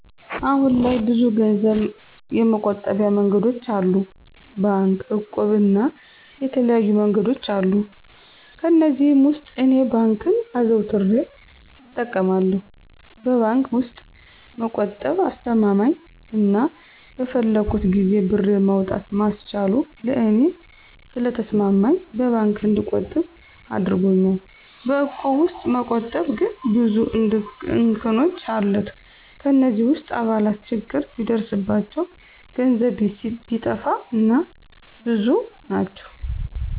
አሁን ላይ ብዙ ገንዘብ የመቆጠቢያ መንገዶች አሉ። ባንክ፣ እቁብ እና የተለያዩ መንገዶች አሉ። ከእነዚህም ውስጥ እኔ ባንክን አዘውትሬ እጠቀማለሁ። በባንክ ውስጥ መቆጠብ አስማማኝ አና በፈለኩት ጊዜ ብሬን ማውጣት ማስቻሉ ለእኔ ስለተስማማኝ በባንክ እንድቆጥብ አድርጎኛል። በእቁብ ውስጥ መቆጠብ ግን ብዙ እንከኖች አለት። ከእነዚህ ውስጥ አባላት ችግር ቢደርስባቸው፣ ገንዘብ ቢጠፋ እና እና ብዙ ናቸው።